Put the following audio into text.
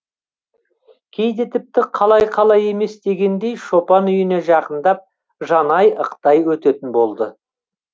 кейде тіпті қалай қалай емес дегендей шопан үйіне жақындап жанай ықтай өтетін болды